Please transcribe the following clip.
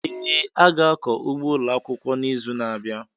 Ee, a ga-akọ ugbo ụlọ akwụkwọ n'izu na-abịa.